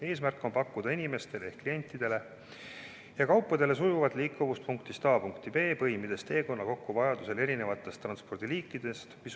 Eesmärk on pakkuda klientidele kauba sujuvat liikumist punktist A punkti B, põimides teekonna vajadusel kokku, kasutades eri transpordiliike.